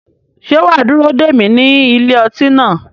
Ṣé wà á dúró dè mí ní ilé ọtí náà?